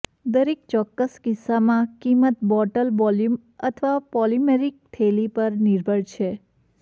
દરેક ચોક્કસ કિસ્સામાં કિંમત બોટલ વોલ્યુમ અથવા પોલિમરીક થેલી પર નિર્ભર છે